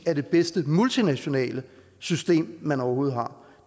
er det bedste multinationale system man overhovedet har